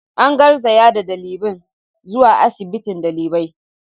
An garzaya da dalibin zuwa asibiti dalibai.